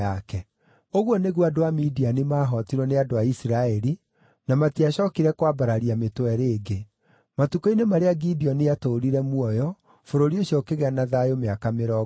Ũguo nĩguo andũ a Midiani maahootirwo nĩ andũ a Isiraeli, na matiacookire kwambararia mĩtwe rĩngĩ. Matukũ-inĩ marĩa Gideoni aatũũrire muoyo, bũrũri ũcio ũkĩgĩa na thayũ mĩaka mĩrongo ĩna.